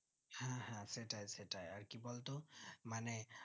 হ্যাঁ হ্যাঁ সেটাই সেটাই আর কি বলতো মানে